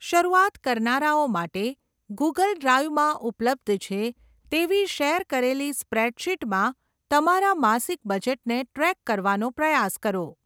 શરૂઆત કરનારાઓ માટે, ગૂગલ ડ્રાઇવમાં ઉપલબ્ધ છે તેવી શેર કરેલી સ્પ્રેડશીટમાં તમારા માસિક બજેટને ટ્રૅક કરવાનો પ્રયાસ કરો.